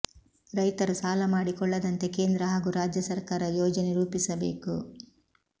ರೈತರು ಸಾಲ ಮಾಡಿಕೊಳ್ಳದಂತೆ ಕೇಂದ್ರ ಹಾಗೂ ರಾಜ್ಯ ಸರ್ಕಾರ ಯೋಜನೆ ರೂಪಿಸಬೇಕು